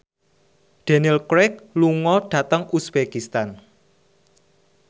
Daniel Craig lunga dhateng uzbekistan